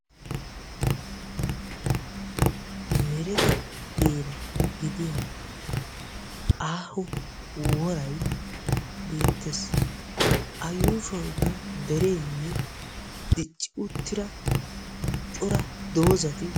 Merete heera gidiya aaho woray beettees. A yuushshuwankka derenne dicci uttida cora doozati ...